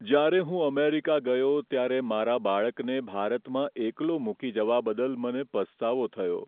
જ્યારે હું અમેરિકા ગયો ત્યારે મારા બાળકને ભારતમાં એકલો મૂકી જવા બદલ મને પસ્તાવો થયો.